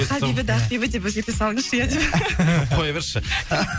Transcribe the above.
хабибіді ақбибі деп өзгерте салыңызшы иә қоя берші